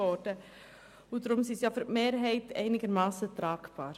Deshalb sind sie für die Mehrheit einigermassen tragbar.